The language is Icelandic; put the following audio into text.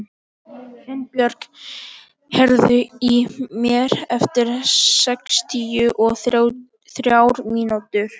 Finnbjörk, heyrðu í mér eftir sextíu og þrjár mínútur.